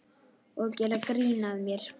Og gera grín að mér.